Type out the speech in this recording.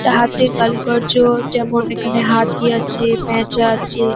এটা হাতের কারুকার্য যেমন এখানে হাতি আছে পেঁচা আছে ।